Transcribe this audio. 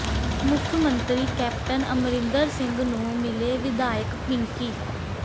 ਮੁੱਖ ਮੰਤਰੀ ਕੈਪਟਨ ਅਮਰਿੰਦਰ ਸਿੰਘ ਨੂੰ ਮਿਲੇ ਵਿਧਾਇਕ ਪਿੰਕੀ